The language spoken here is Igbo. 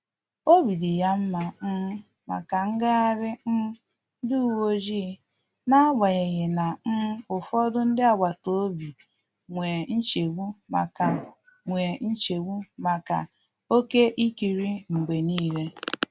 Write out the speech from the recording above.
Obi di ha nma um maka ngaghari um ndi uweojii na agbanyighi na um ụfọdụ ndị agbata obi nwee nchegbu maka nwee nchegbu maka oke ịkiri mgbe niile